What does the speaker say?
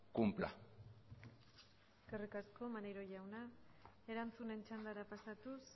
cumpla eskerrik asko maneiro jauna erantzunen txandara pasatuz